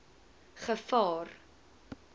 gevaar